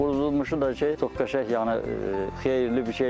Qurudulmuşu da ki, çox qəşəng, yəni xeyirli bir şeydir.